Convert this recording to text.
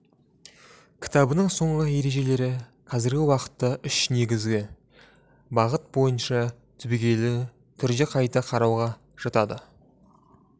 кітабының соңғы ережелері қазіргі уақытта үш негізгі бағыт бойынша түбегейлі түрде қайта қарауға жатады